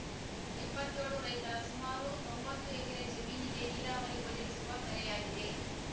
ಇಪ್ಪತ್ಯೋಳು ರೈತರ ಸುಮಾರು ತೊಂಬತ್ತು ಎಕರೆ ಜಮೀನಿಗೆ ನೀರಾವರಿ ಒದಗಿಸುವ ಕೆರೆಯಾಗಿದೆ